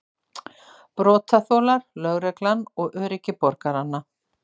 Brotaþolar, lögreglan og öryggi borgaranna.